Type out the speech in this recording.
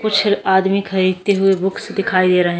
कुछ आदमी खरीदते हुए बुक्स दिखाई दे रहे हैं ।